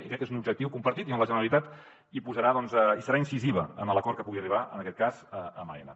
i crec que és un objectiu compartit amb la generalitat hi serà incisiva en l’acord que pugui arribar en aquest cas amb aena